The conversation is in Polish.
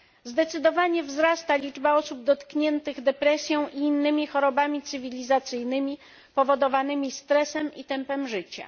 Zdecydowanie wzrasta liczba osób dotkniętych depresją i innymi chorobami cywilizacyjnymi powodowanymi stresem i tempem życia.